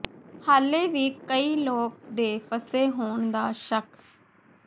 ਹਾਲੇ ਵੀ ਕਈ ਲੋਕ ਦੇ ਫਸੇ ਹੋਣ ਦਾ ਸ਼ੱਕ